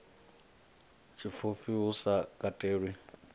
tshipfufhi hu sa katelwi ha